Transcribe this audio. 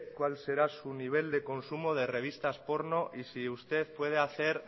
cuál será su nivel de consumo de revistas porno y si usted puede hacer